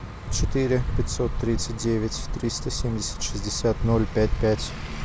четыре пятьсот тридцать девять триста семьдесят шестьдесят ноль пять пять